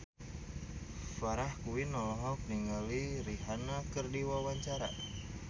Farah Quinn olohok ningali Rihanna keur diwawancara